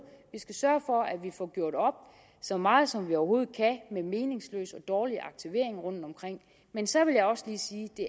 vi skal sørge for at vi får gjort op så meget som vi overhovedet kan med meningsløs og dårlig aktivering rundtomkring men så vil jeg også lige sige at det